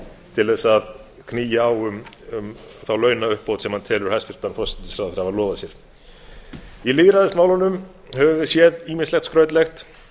til að knýja á um þá launauppbót sem hann telur hæstvirtur forsætisráðherra hafa lofað sér í lýðræðismálunum höfum við séð ýmislegt skrautlegt